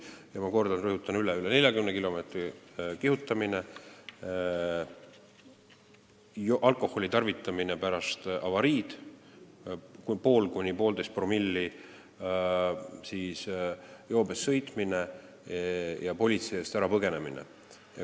Ma rõhutan üle need teod: kiiruse ületamine üle 40 kilomeetri tunnis, alkoholi tarvitamine pärast avariid, 0,5–1,5-promillises joobes sõitmine ja politsei eest põgenemine.